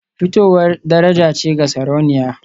Fitowar daraja ce ga Sarauniya